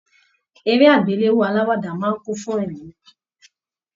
Eré agbelewo aláwàdà máa n kún fún ẹ̀rín.